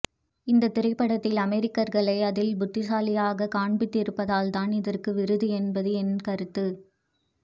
இந்த திரைபடத்தில் அமெரிக்கர்களை அதில் புத்திசாலிகளாக கான்பிதிருப்பதால் தான் இதற்க்கு விருது என்பது என் கருத்து